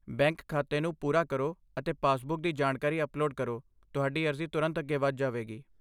Bank ਖਾਤੇ ਨੂੰ ਪੂਰਾ ਕਰੋ ਅਤੇ ਪਾਸਬੁੱਕ ਦੀ ਜਾਣਕਾਰੀ ਅਪਲੋਡ ਕਰੋ, ਤੁਹਾਡੀ ਅਰਜ਼ੀ ਤੁਰੰਤ ਅੱਗੇ ਵਧ ਜਾਵੇਗੀ।